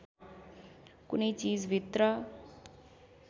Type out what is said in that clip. कुनै चिजभित्र